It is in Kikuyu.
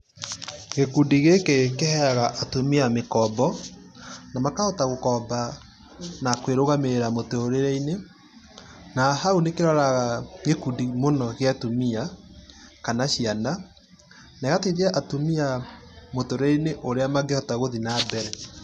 Gĩkundi gĩki kiheaga atumia mĩkombo na makahota gũkomba na kwirũgamĩrĩra mũtũrĩreinĩ na hau nĩkiroraga gĩkundi mũno gĩa atumia kana ciana na ĩgateithia atumia mũtũrĩreinĩ ũrĩa mangĩhota gũthiĩ na mbere.